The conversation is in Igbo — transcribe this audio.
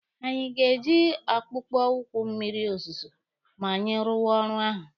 Anyị ga-eyi akpụkpọ ụkwụ mmịrị ozuzu ma anyị rụwa ọrụ ahụ.